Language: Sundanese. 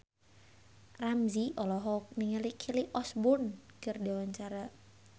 Ramzy olohok ningali Kelly Osbourne keur diwawancara